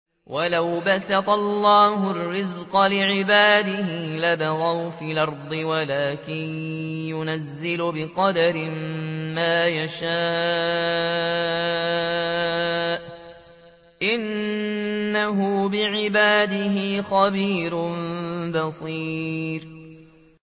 ۞ وَلَوْ بَسَطَ اللَّهُ الرِّزْقَ لِعِبَادِهِ لَبَغَوْا فِي الْأَرْضِ وَلَٰكِن يُنَزِّلُ بِقَدَرٍ مَّا يَشَاءُ ۚ إِنَّهُ بِعِبَادِهِ خَبِيرٌ بَصِيرٌ